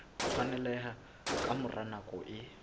tshwaneleha ka mora nako e